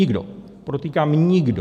Nikdo, podotýkám, nikdo.